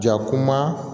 Ja kuma